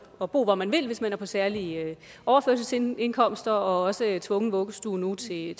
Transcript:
at bo hvor man vil hvis man er på særlige overførselsindkomster også tvungen vuggestue til en